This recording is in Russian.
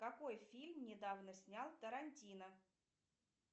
какой фильм недавно снял тарантино